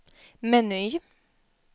meny